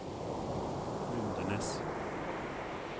Lundenes